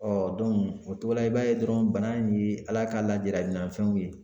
o cogo la i b'a ye dɔrɔn bana in ye Ala ka ladilikan fɛnw ye